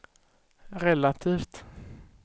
relativt